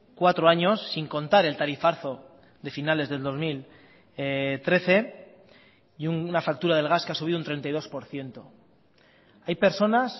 cuatro años sin contar el tarifazo de finales del dos mil trece y una factura del gas que ha subido un treinta y dos por ciento hay personas